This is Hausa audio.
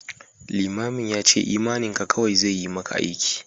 Limamin ya ce imaninka kawai zai yi maka aiki